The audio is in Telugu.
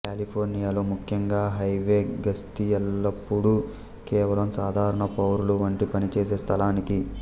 కాలిఫోర్నియా లో ముఖ్యంగా హైవే గస్తీ ఎల్లప్పుడూ కేవలం సాధారణ పౌరులు వంటి పనిచేసే స్థలానికి